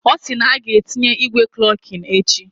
Osi na aga etinye igwe klokin echi